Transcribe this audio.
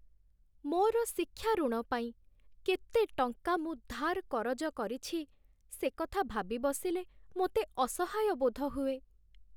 ମୋର ଶିକ୍ଷା ଋଣ ପାଇଁ କେତେ ଟଙ୍କା ମୁଁ ଧାର୍ କରଜ କରିଛି, ସେ କଥା ଭାବି ବସିଲେ, ମୋତେ ଅସହାୟ ବୋଧ ହୁଏ।